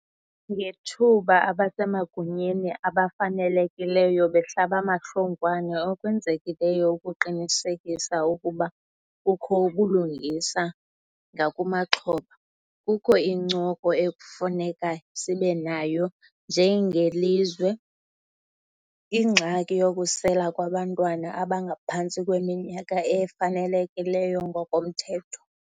Ngethuba abasemagunyeni abafanelekileyo behlabamahlongwane okwenzekileyo ukuqinisekisa ukuba kukho ubulungisa ngakumaxhoba, kukho incoko ekufuneka sibenayo njengelizwe. Ingxaki yokusela kwabantwana abangaphantsi kweminyaka efanelekileyo ngokomthetho.